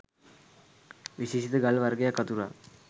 විශේෂිත ගල් වර්ගයක් අතුරා